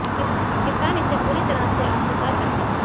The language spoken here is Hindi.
पाकिस्तान इसे पूरी तरह से अस्वीकार करता है